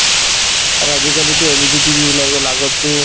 আৰু আজিকালিতো LED TV ওলাই গল আগততো